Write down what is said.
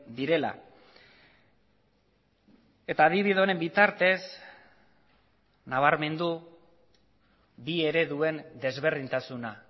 direla eta adibide honen bitartez nabarmendu bi ereduen desberdintasuna